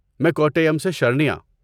میں کوٹائم سے شرنیا۔